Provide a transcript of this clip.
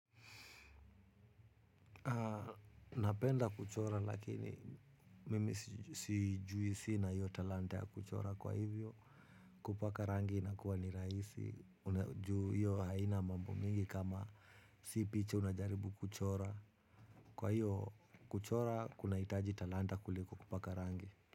Napenda kuchora lakini mimi sijuisi na hiyo talanta ya kuchora kwa hivyo kupaka rangi inakuwa ni rahisi. Ju hiyo haina mambo mingi kama si picha unajaribu kuchora. Kwa hiyo kuchora kunahitaji talanta kuliko kupaka rangi.